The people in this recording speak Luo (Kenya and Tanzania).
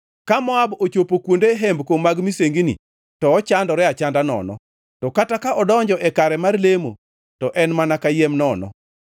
Ka Moab ochopo kuonde hembko mag misengini, to ochandore achanda nono; to kata ka odonjo e kare mar lemo, to en mana kayiem nono.